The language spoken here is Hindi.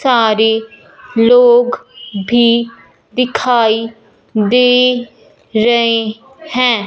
सारे लोग भी दिखाई दे रहे हैं।